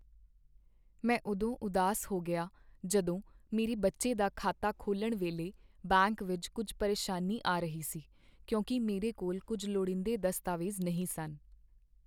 ਮੈਂ ਉਦੋਂ ਉਦਾਸ ਹੋ ਗਿਆ ਜਦੋਂ ਮੇਰੇ ਬੱਚੇ ਦਾ ਖਾਤਾ ਖੋਲ੍ਹਣ ਵੇਲੇ ਬੈਂਕ ਵਿੱਚ ਕੁੱਝ ਪਰੇਸ਼ਾਨੀ ਆ ਰਹੀ ਸੀ ਕਿਉਂਕਿ ਮੇਰੇ ਕੋਲ ਕੁੱਝ ਲੋੜੀਂਦੇ ਦਸਤਾਵੇਜ਼ ਨਹੀਂ ਸਨ।